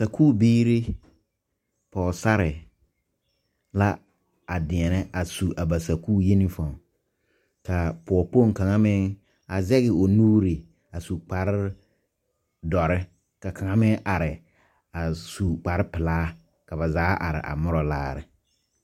sakubiiri pɔgesare la a deɛnɛ a su a ba sakuuri uniform ka pɔgekpoŋ kaŋa meŋ a zɛge o nuuri a su kparedɔre ka kaŋa meŋ are a su kparepelaa ka ba zaa are a mora laare.